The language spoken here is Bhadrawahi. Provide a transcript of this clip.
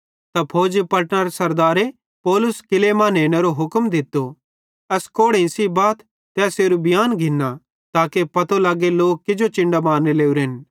त फौजी पलटनरे सरदारे पौलुस किल्लै मां नेनेरो हुक्म दित्तो एस कोड़ेइं सेइं बाथ ते एसेरू बियांन घिन्ना ताके पतो लगे कि लोक किजो चिन्डां मारने लोरेन